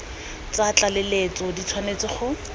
tsa tlaleletso di tshwanetse go